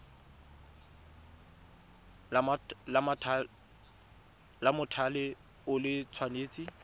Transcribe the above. la mothale o le tshwanetse